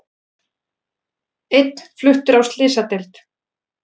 Einn fluttur á slysadeild